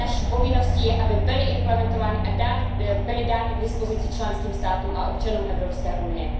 Naší povinností je, aby byly implementovány a byly dány k dispozici členským státům a občanům Evropské unie.